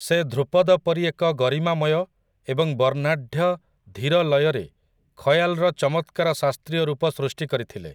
ସେ ଧ୍ରୁପଦ ପରି ଏକ ଗରିମାମୟ ଏବଂ ବର୍ଣ୍ଣାଢ୍ୟ ଧୀର ଲୟରେ ଖୟାଲ୍‌ର ଚମତ୍କାର ଶାସ୍ତ୍ରୀୟ ରୂପ ସୃଷ୍ଟି କରିଥିଲେ ।